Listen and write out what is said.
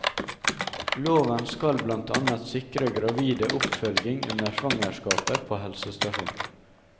Loven skal blant annet sikre gravide oppfølging under svangerskapet på helsestasjon.